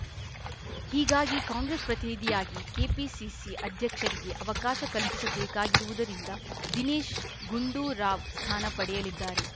ಹೀಗಾಗಿ ಕಾಂಗ್ರೆಸ್‌ ಪ್ರತಿನಿಧಿಯಾಗಿ ಕೆಪಿಸಿಸಿ ಅಧ್ಯಕ್ಷರಿಗೆ ಅವಕಾಶ ಕಲ್ಪಿಸಬೇಕಾಗಿರುವುದರಿಂದ ದಿನೇಶ್‌ ಗುಂಡೂರಾವ್‌ ಸ್ಥಾನ ಪಡೆಯಲಿದ್ದಾರೆ